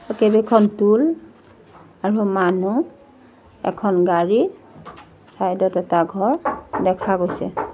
তাত কেইবাখন টোল আৰু মানুহ এখন গাড়ী চাইড ত এটা ঘৰ দেখা গৈছে।